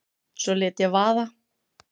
Svo lét ég vaða.